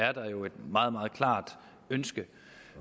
er der jo et meget meget klart ønske